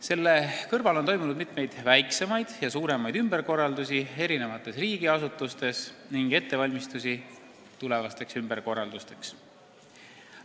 Selle kõrval on toimunud hulk väiksemaid ja suuremaid ümberkorraldusi eri riigiasutustes ning ettevalmistusi tulevasteks ümberkorraldusteks.